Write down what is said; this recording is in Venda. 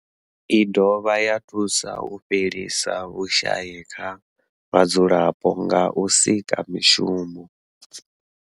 I dovha ya thusa u fhelisa vhushayi kha vhadzulapo nga u sika mishumo.